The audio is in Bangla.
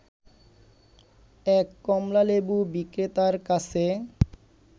এক কমলালেবু বিক্রেতার কাছে